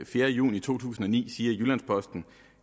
fjerde juni to tusind og ni siger i jyllands posten